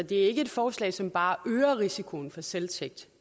det er ikke et forslag som bare øger risikoen for selvtægt